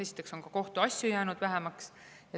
Esiteks on kohtuasju jäänud vähemaks.